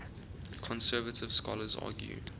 conservative scholars argue